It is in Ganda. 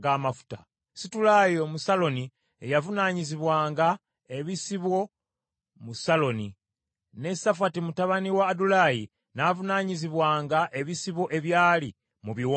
Situlayi Omusaloni ye yavunaanyizibwanga ebisibo mu Saloni, ne Safati mutabani wa Adulayi n’avunaanyizibwanga ebisibo ebyali mu biwonvu.